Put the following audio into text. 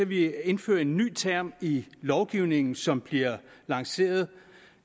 vi indfører en ny term i lovgivningen som bliver lanceret